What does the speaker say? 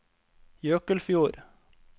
Jøkelfjord